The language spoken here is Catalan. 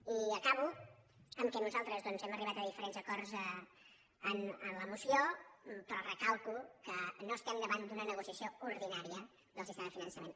i acabo amb el fet que nosaltres doncs hem arribat a diferents acords en la moció però recalco que no estem davant d’una negociació ordinària del sistema de finançament